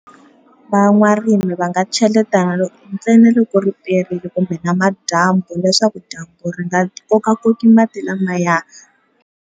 Van'warimi va nga cheleta ntsena loko ri perile kumbe namadyambu leswaku dyambu ri nga kokakoki mati lamaya.